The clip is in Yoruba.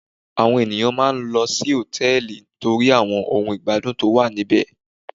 Àwọn ènìyàn máà ń lọ hòtẹ́ẹ̀lì torí àwọn ohun ìgbádùn tó wà níbẹ̀.